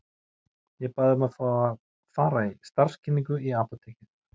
Ég bað um að fá að fara í starfskynningu í apótekið.